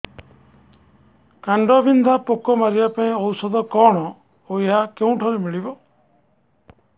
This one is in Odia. କାଣ୍ଡବିନ୍ଧା ପୋକ ମାରିବା ପାଇଁ ଔଷଧ କଣ ଓ ଏହା କେଉଁଠାରୁ ମିଳିବ